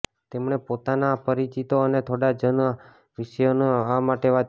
તેમણે પોતાના પરિચિતો અને થોડા જૂના શિષ્યોને આ માટે વાત કરી